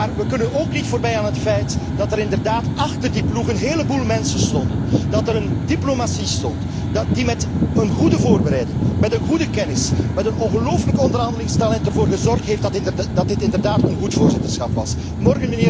Maar we kunnen ook niet voorbij aan het feit dat er achter die ploegen een heleboel mensen stonden, dat er een diplomatie stond die met een goede voorbereiding, met een goede kennis, met een ongelooflijk onderhandelingstalent ervoor heeft gezorgd dat dit inderdaad een goed voorzitterschap is geworden.